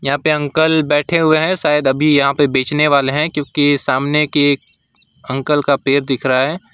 यहां पे अंकल बैठे हुए हैं शायद अभी यहां पे बेचने वाले हैं क्योंकि सामने के अंकल का पैर दिख रहा है।